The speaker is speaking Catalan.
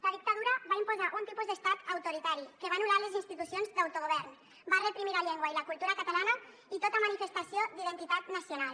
la dictadura va imposar un tipus d’estat autoritari que va anul·lar les institucions d’autogovern va reprimir la llengua i la cultura catalanes i tota manifestació d’identitat nacional